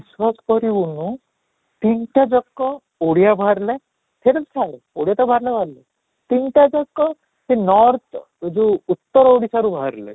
ବିଶ୍ୱାସ କରିବୁନୁ ତିନିଟା ଯାକ ଓଡ଼ିଆ ବାହାରିଲେ ଛାଡ଼ ଓଡ଼ିଆ ତ ବାହାରିଲେ ବାହାରିଲେ, ତିନିଟା ଯାକ ସେଇ north ଯଉ ଉତ୍ତର ଓଡିଶାରୁ ବାହାରିଲେ